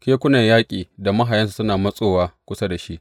Kekunan yaƙi da mahayansu suna matsowa kusa da shi.